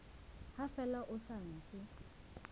ha fela ho sa ntse